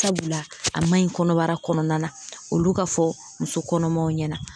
Sabula a maɲi kɔnɔbara kɔnɔna na olu ka fɔ muso kɔnɔmaw ɲɛna